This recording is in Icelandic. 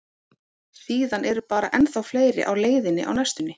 Síðan eru bara ennþá fleiri á leiðinni á næstunni.